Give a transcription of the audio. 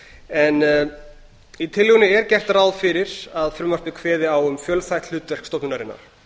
leyfi forseta í tillögunni er gert ráð fyrir að frumvarpið kveði á um fjölþætt hlutverk stofnunarinnar